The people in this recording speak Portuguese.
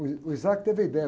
Uh, ih, o teve a ideia.